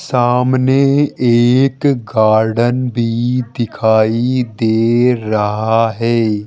सामने एक गार्डन भी दिखाई दे रहा है।